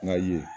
N ga ye